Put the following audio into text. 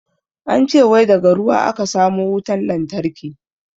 An ce wai daga ruwa a ka samo wutan lantarki.